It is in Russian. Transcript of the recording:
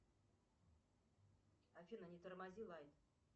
афина не тормози лайт